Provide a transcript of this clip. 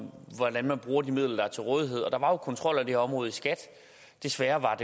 hvordan man bruger de midler der er til rådighed og der var jo kontrol af det her område i skat desværre var